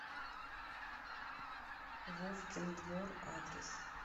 вовкин двор адрес